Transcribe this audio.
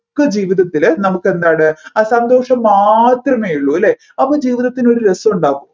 ഒക്കെ ജീവിതത്തിൽ നമ്മുക്ക് എന്താണ് ആ സന്തോഷം മാത്രമേ ഉള്ളു അല്ലെ അപ്പൊ ജീവിതത്തിന് ഒരു രസമുണ്ടോ